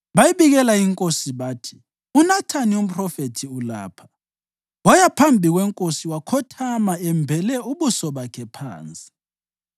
Bayibikela inkosi bathi, “UNathani umphrofethi ulapha.” Waya phambi kwenkosi wakhothama embele ubuso bakhe phansi.